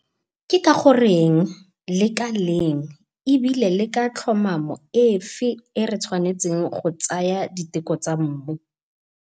Ke ka goreng, le ka leng ebile le ka tlhomamo efe e re tshwanetseng go tsaya diteko tsa mmu.